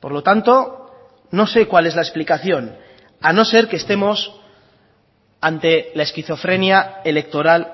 por lo tanto no sé cuál es la explicación a no ser que estemos ante la esquizofrenia electoral